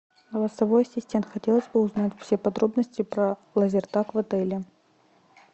голосовой ассистент хотелось бы узнать все подробности про лазертаг в отеле